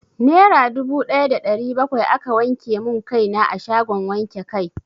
Nera dubu daya da ɗari bakwai aka wanke mun kai na a shagon wanke kai.